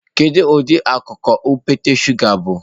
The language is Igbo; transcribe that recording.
Kedu ụdị akụkụ okpete shụga bụ?